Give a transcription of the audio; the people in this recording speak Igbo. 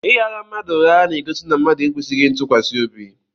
Ị ghara mmadụ ụgha na-egosi na mmadụ ekwesịghị ntụkwasị obi.